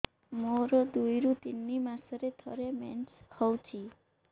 ମୋର ଦୁଇରୁ ତିନି ମାସରେ ଥରେ ମେନ୍ସ ହଉଚି